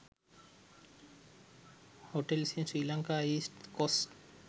hotels in sri lanka east coast